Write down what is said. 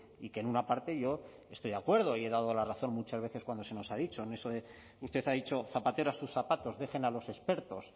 y que en una parte yo estoy de acuerdo y he dado la razón muchas veces cuando se nos ha dicho en eso de usted ha dicho zapatero a sus zapatos dejen a los expertos